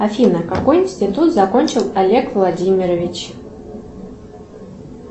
афина какой институт закончил олег владимирович